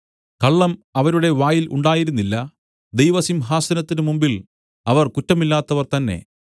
കള്ളം അവരുടെ വായിൽ ഉണ്ടായിരുന്നില്ല ദൈവസിംഹാസനത്തിന്മുമ്പിൽ അവർ കുറ്റമില്ലാത്തവർ തന്നേ